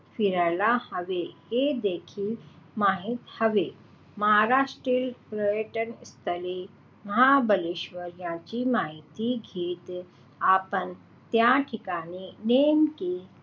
फिरायला हवे हे देखील माहित हवे. महाराष्ट्रातील पर्यटन स्थळे महाबळेश्वर याची माहिती घेत आपण त्या ठिकाणी नेमके,